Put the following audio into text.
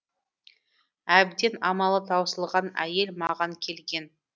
әбден амалы таусылған әйел маған келген